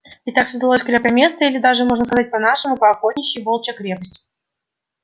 и так создалось крепкое место или даже можно сказать по-нашему по-охотничьи волчья крепость